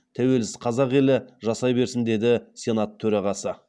тәуелсіз қазақ елі жасай берсін деді сенат төрағасы